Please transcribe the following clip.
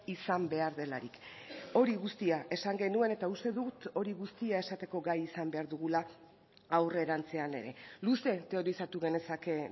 izan behar delarik hori guztia esan genuen eta uste dut hori guztia esateko gai izan behar dugula aurrerantzean ere luze teorizatu genezake